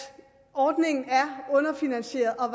ordningen er underfinansieret og